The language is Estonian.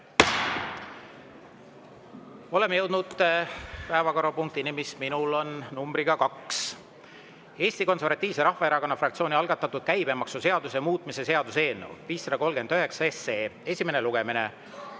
Oleme jõudnud päevakorrapunktini, mis minu ees on numbriga 2: Eesti Konservatiivse Rahvaerakonna fraktsiooni algatatud käibemaksuseaduse muutmise seaduse eelnõu 539 esimene lugemine.